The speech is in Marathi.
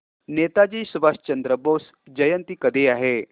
नेताजी सुभाषचंद्र बोस जयंती कधी आहे